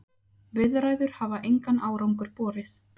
Viðræður hafa engan árangur borið.